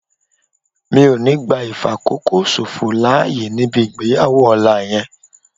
Mi ò ní gbá ìfàkókòṣòfò láyè níbi ìgbéyàwó ọ̀la yẹn